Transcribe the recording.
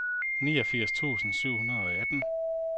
niogfirs tusind syv hundrede og atten